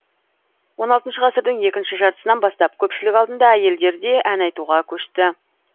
он алтыншы ғасырдың екінші жартысынан бастап көпшілік алдында әйелдер де ән айтуға көшті